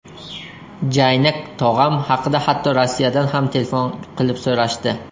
Jaynak tog‘am haqida hatto Rossiyadan ham telefon qilib so‘rashdi.